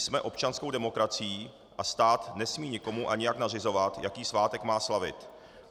Jsme občanskou demokracií a stát nesmí nikomu a nijak nařizovat, jaký svátek má slavit.